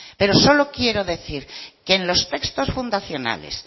pero solo quiero decir que en los textos fundacionales